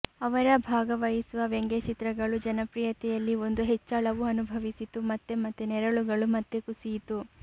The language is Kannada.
ಅವರ ಭಾಗವಹಿಸುವ ವ್ಯಂಗ್ಯಚಿತ್ರಗಳು ಜನಪ್ರಿಯತೆಯಲ್ಲಿ ಒಂದು ಹೆಚ್ಚಳವು ಅನುಭವಿಸಿತು ಮತ್ತು ಮತ್ತೆ ನೆರಳುಗಳು ಮತ್ತೆ ಕುಸಿಯಿತು